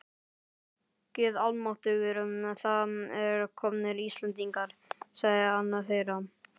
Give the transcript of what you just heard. Guð almáttugur, það eru komnir Íslendingar, sagði annar þeirra.